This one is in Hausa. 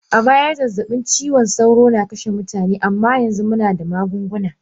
A baya zazzabin cizon sauro na kashe mutane amma yanzu muna da magunguna.